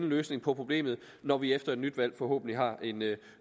løsning på problemet når vi efter et nyt valg forhåbentlig har en